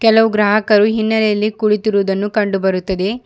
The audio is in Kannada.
ಕೆಲವು ಗ್ರಾಹಕರು ಹಿನ್ನೆಲೆಯಲ್ಲಿ ಕುಳಿತಿರುವುದನ್ನು ಕಂಡು ಬರುತ್ತದೆ.